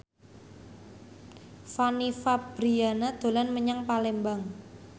Fanny Fabriana dolan menyang Palembang